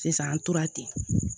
Sisan an tora ten